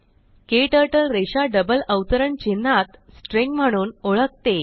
KTurtle रेषाडबल अवतरण चिन्हातस्ट्रिंग म्हणून ओळखते